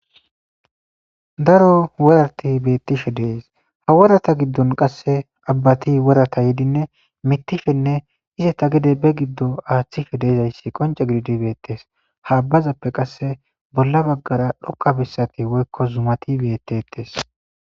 daro worarti beettishe dees ha worata giddon qasse abbati worata yedinne mittishenne ize ta gide be giddo aaththishe deezayssi qonce gididi beettes ha abbazappe qasse bolla baggara dhoqabessati woykko zumati bettettes